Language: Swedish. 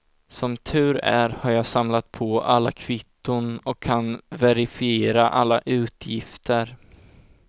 Som tur är har jag samlat på alla kvitton och kan verifiera alla utgifter.